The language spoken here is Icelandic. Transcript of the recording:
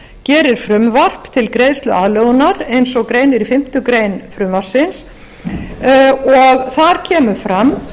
gerir frumvarp til greiðsluaðlögunar eins og greinir í fimmtu grein frumvarpsins og þar kemur fram